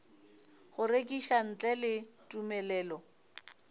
go rekiša ntle le tumelelo